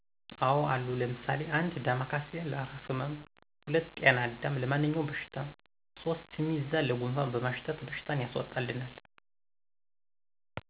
አዎ አሉ ለምሳሌ 1 ዳማ ካሴ፦ ለእራስ ህመም 2 ጤና አዳም፦ ለማንኛውም በሽታ 3 ስሚዛ፦ ለጉንፋን በማሽተት በሽታን ያስወጣልናል